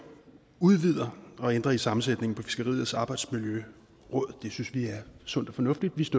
udvider og ændrer i sammensætningen af fiskeriets arbejdsmiljøråd det synes vi er sundt og fornuftigt